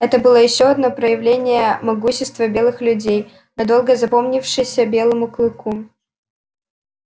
это было ещё одно проявление могущества белых людей надолго запомнившееся белому клыку